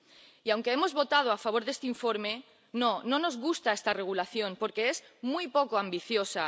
Y aunque hemos votado a favor de este informe, no, no nos gusta esta regulación, porque es muy poco ambiciosa.